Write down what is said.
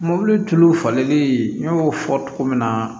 Mobili tulu falenlen n y'o fɔ cogo min na